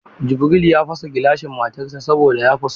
Jubril ya fasa gilasan matar sa saboda ya fusata.